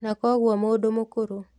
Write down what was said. Na kwoguo mũndũ mũkũrũ